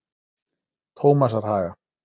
Tómasarhaga